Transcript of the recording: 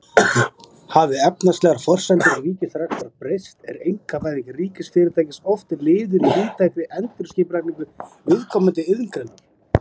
Hafi efnahagslegar forsendur ríkisrekstrar breyst er einkavæðing ríkisfyrirtækis oft liður í víðtækri endurskipulagningu viðkomandi iðngreinar.